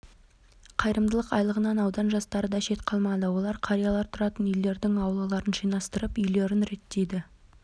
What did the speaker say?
қайырымдылық айлығынан аудан жастары да шет қалмады олар қариялар тұратын үйлердің аулаларын жинастырып үйлерін реттейді